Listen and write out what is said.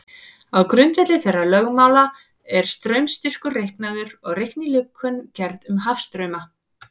Á grundvelli þeirra lögmála er straumstyrkur reiknaður og reiknilíkön gerð um hafstrauma.